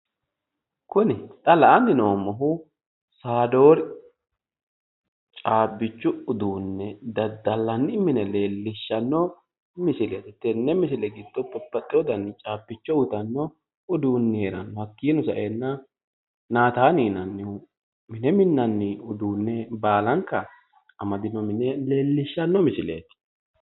Kuni xa la"anni noommohu saadori caabbichu uduunne daddallanni mine leellishshanno misileeti tenne misile giddo babbaxxino dani caabbichu uytanno uduunne heeranno hakkino saeenna naatanni mine minnanni uduunne baalanka amadino mine leellishshanno misileeti.